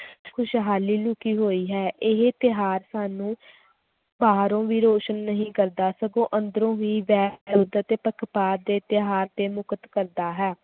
ਖ਼ੁਸ਼ਹਾਲੀ ਲੁਕੀ ਹੋਈ ਹੈ ਇਹ ਤਿਉਹਾਰ ਸਾਨੂੰ ਬਾਹਰੋਂ ਵੀ ਰੋਸ਼ਨ ਨਹੀਂ ਕਰਦਾ ਸਗੋਂ ਅੰਦਰੋਂ ਵੀ ਤੇ ਪੱਖਪਾਤ ਦੇ ਤਿਉਹਾਰ ਤੇ ਮੁਕਤ ਕਰਦਾ ਹੈ।